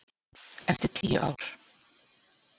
Eftir tíu ár.